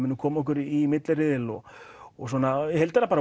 komum okkur í milliriðil og og í heildina bara